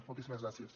moltíssimes gràcies